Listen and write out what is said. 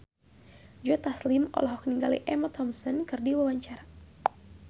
Joe Taslim olohok ningali Emma Thompson keur diwawancara